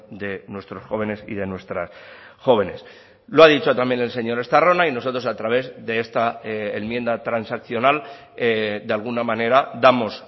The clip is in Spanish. de nuestros jóvenes y de nuestras jóvenes lo ha dicho también el señor estarrona y nosotros a través de esta enmienda transaccional de alguna manera damos